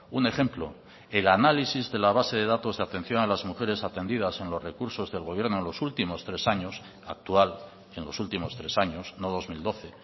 un ejemplo el análisis de la base de datos de atención a las mujeres atendidas en los recursos del gobierno en los últimos tres años actual en los últimos tres años no dos mil doce